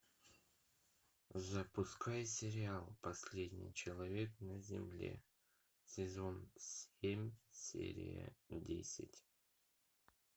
запускай сериал последний человек на земле сезон семь серия десять